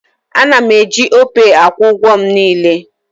A na m eji Opay akwụ ụgwọ m niile